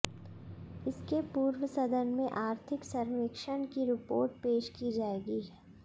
इसके पूर्व सदन में आर्थिक सर्वेक्षण की रिपोर्ट पेश की जाएगी